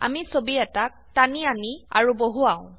আমি ছবি এটাক টানি আনি আৰু বহুৱাও